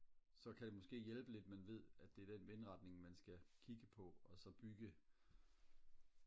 så kan det måske hjælpe lidt man ved at det er den vindretning man skal kigge på og så bygge